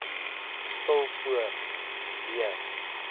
stil voor w